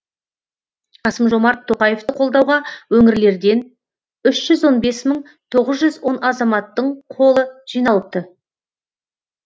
қасым жомарт тоқаевты қолдауға өңірлерден үш жүз он бес мың тоғыз жүз он азаматтың қолы жиналыпты